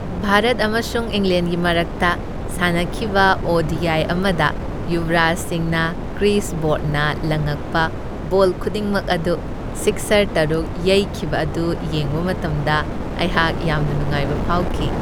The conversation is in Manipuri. ꯚꯥꯔꯠ ꯑꯃꯁꯨꯡ ꯏꯪꯂꯦꯟꯒꯤ ꯃꯔꯛꯇ ꯁꯥꯟꯅꯈꯤꯕ ꯑꯣ.ꯗꯤ.ꯑꯥꯏ. ꯑꯃꯗ ꯌꯨꯕꯔꯥꯖ ꯁꯤꯡꯅ ꯀ꯭ꯔꯤꯁ ꯕ꯭ꯔꯣꯗꯅ ꯂꯡꯉꯛꯄ ꯕꯣꯜ ꯈꯨꯗꯤꯡꯃꯛ ꯑꯗꯨ ꯁꯤꯛꯁꯔ ꯇꯔꯨꯛ ꯌꯩꯈꯤꯕ ꯑꯗꯨ ꯌꯦꯡꯕ ꯃꯇꯝꯗ ꯑꯩꯍꯥꯛ ꯌꯥꯝꯅ ꯅꯨꯡꯉꯥꯏꯕ ꯐꯥꯎꯈꯤ ꯫